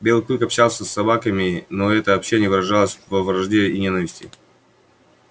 белый клык общался и с собаками но это общение выражалось во вражде и ненависти